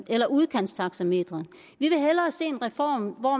eller udkantstaxametre vi vil hellere se en reform hvor